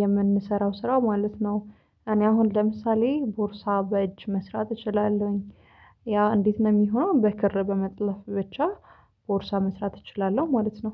የምንሰራው ስራ ማለት ነው። እኔ አሁን ለምሳሌ ቦርሳ በእጅ መስራት እችላለሁኝ። ያ እንዴት ነው የሚሆነው? በክር በመጥለፍ ብቻ ቦርሳ መስራት እችላለሁ ማለት ነው